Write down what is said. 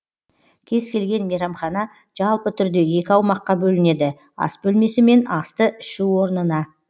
кез келген мейрамхана жалпы түрде екі аумаққа бөлінеді ас бөлмесі мен асты ішу орнына